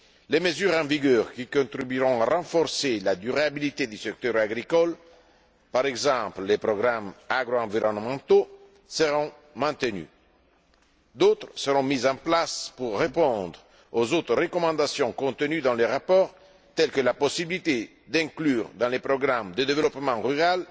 Les mesures en vigueur, qui contribueront à renforcer la durabilité du secteur agricole, par exemple, les programmes agro environnementaux, seront maintenues. D'autres seront mises en place pour répondre aux autres recommandations contenues dans le rapport, telles que la possibilité d'inclure dans les programmes de développement rural